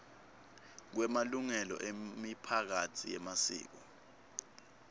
kwemalungelo emiphakatsi yemasiko